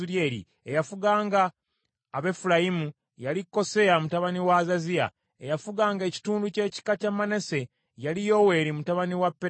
eyafuganga Abefulayimu yali Koseya mutabani wa Azaziya; eyafuganga ekitundu ky’ekika kya Manase yali Yoweeri mutabani wa Pedaya;